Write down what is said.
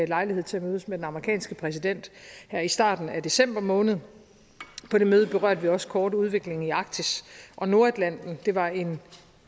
lejlighed til at mødes med den amerikanske præsident her i starten af december måned på det møde berørte vi også kort udviklingen i arktis og nordatlanten og det var en